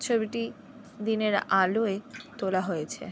ছবিটি দিনের আলোয় তোলা হয়েছে।